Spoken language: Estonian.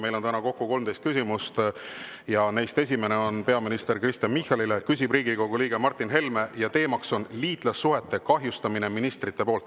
Meil on täna kokku 13 küsimust ja neist esimene on peaminister Kristen Michalile, küsib Riigikogu liige Martin Helme ja teema on liitlassuhete kahjustamine ministrite poolt.